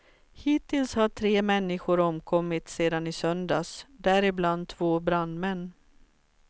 Hittills har tre människor omkommit sedan i söndags däribland två brandmän.